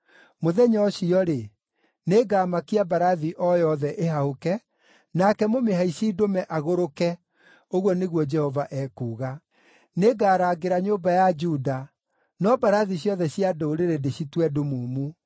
Mũthenya ũcio-rĩ, nĩngamakia mbarathi o yothe ĩhahũke, nake mũmĩhaici ndũme agũrũke,” ũguo nĩguo Jehova ekuuga. “Nĩngarangĩra nyũmba ya Juda, no mbarathi ciothe cia ndũrĩrĩ ndĩcitue ndumumu.